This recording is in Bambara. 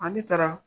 Ani taara